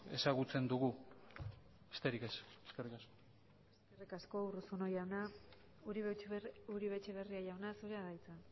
ezagutzen dugu besterik ez eskerrik asko eskerrik asko urruzuno jauna uribe etxebarria jauna zurea da hitza